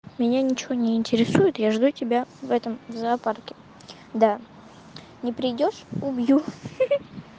меня ничего не интересует я жду тебя в этом зоопарке да не придёшь убью хи-хи